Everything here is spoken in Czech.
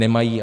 Nemají.